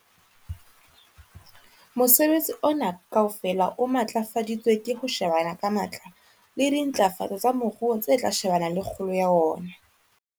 Mosebetsi ona kaofela o matlafaditswe ke ho shebana ka matla le dintlafatso tsa moruo tse tla shebana le kgolo ya ona.